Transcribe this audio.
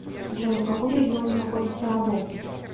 джой в каком регионе находится або